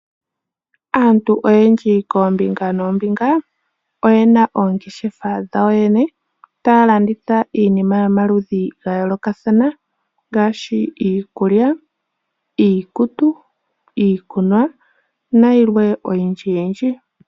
Aantu oyendji koombinga noombinga oye na oongeshefa dhawo yene taya landitha iinima yomaludhi ga yoolokathana ngaashi iikulya, iikutu, iikunwa na yilwe oyindji yindji.